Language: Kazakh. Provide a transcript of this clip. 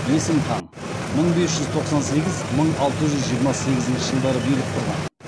есім хан мың бес жүз тоқсан сегіз мың алты жүз жиырма сегізінші жылдары билік құрған